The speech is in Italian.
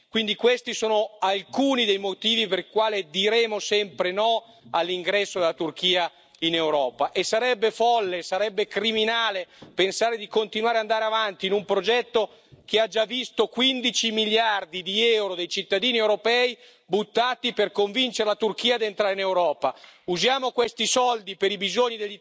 Quindi questi sono alcuni dei motivi per i quali diremo sempre no all'ingresso della Turchia in Europa, e sarebbe folle, sarebbe criminale pensare di continuare ad andare avanti in un progetto che ha già visto 15 miliardi di euro dei cittadini europei buttati per convincere la Turchia ad entrare in Europa. Usiamo questi soldi per i bisogni degli italiani, per i bisogni degli europei e non per buttarli...